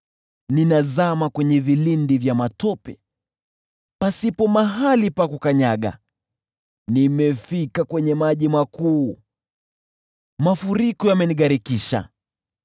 Ninazama kwenye vilindi vya matope, pasipo mahali pa kukanyaga, Nimefika kwenye maji makuu, mafuriko yamenigharikisha.